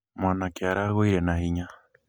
mwanake aragũire na hinya